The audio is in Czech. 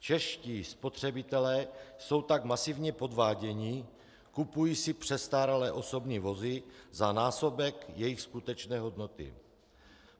Čeští spotřebitelé jsou tak masivně podváděni, kupují si přestárlé osobní vozy za násobek jejich skutečné hodnoty.